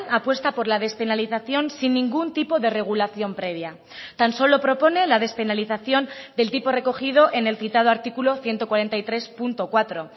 apuesta por la despenalización sin ningún tipo de regulación previa tan solo propone la despenalización del tipo recogido en el citado artículo ciento cuarenta y tres punto cuatro